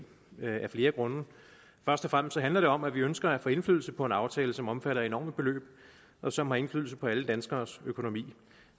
af flere grunde først og fremmest handler det om at vi ønsker at få indflydelse på en aftale som omfatter enorme beløb og som har indflydelse på alle danskeres økonomi